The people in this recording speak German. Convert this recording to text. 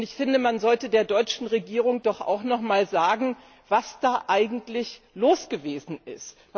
Und ich finde, man sollte der deutschen Regierung auch noch mal sagen, was da eigentlich los gewesen ist.